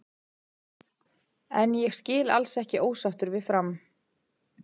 En ég skil alls ekki ósáttur við Fram.